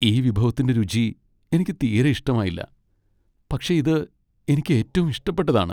ഈ വിഭവത്തിൻറെ രുചി എനിക്ക് തീരെ ഇഷ്ടമായില്ല , പക്ഷേ ഇത് എനിക്ക് ഏറ്റവും ഇഷ്ടപ്പെട്ടതാണ്.